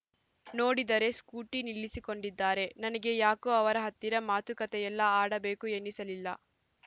ನೋಡಿದರೆ ಸ್ಕೂಟಿ ನಿಲ್ಲಿಸಿಕೊಂಡಿದ್ದಾರೆ ನನಗೆ ಯಾಕೋ ಅವರ ಹತ್ತಿರ ಮಾತು ಕತೆಯಲ್ಲ ಆಡಬೇಕು ಎನ್ನಿಸಲಿಲ್ಲ